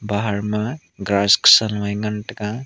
pahar ma grass saloe ngan taga.